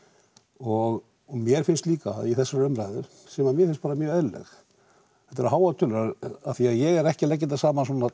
og mér finnst líka í þessari umræðu sem að mér finnst bara mjög eðlileg þetta eru háar tölur af því að ég er ekki að leggja þetta saman svona